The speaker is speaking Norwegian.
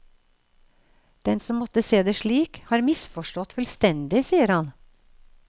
Den som måtte se det slik, har misforstått fullstendig, sier han.